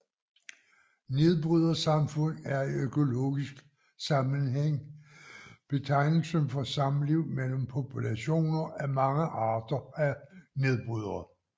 Nedbrydersamfund er i økologisk sammenhæng betegnelsen for samliv mellem populationer af mange arter af nedbrydere